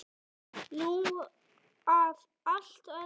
Nú að allt öðru.